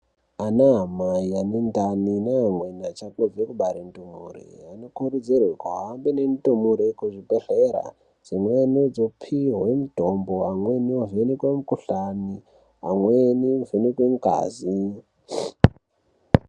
Anaamai anendani neamweni achangobve kubare ndumure vanokurudzirwe kuhambe nendumure kuzvibhedhlera. Dzimweni dzopihwa mutombo, amweni ovhenekwa mukuhlani, amweni ovhenekwa ngazi.